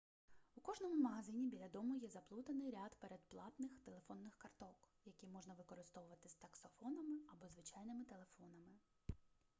у кожному магазині біля дому є заплутаний ряд передплатних телефонних карток які можна використовувати з таксофонами або звичайними телефонами